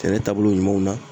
Sɛnɛ taabolo ɲumanw na